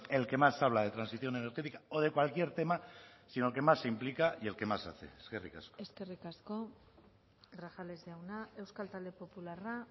el que más habla de transición energética o de cualquier tema sino el que más implica y el que más hace eskerrik asko eskerrik asko grajales jauna euskal talde popularra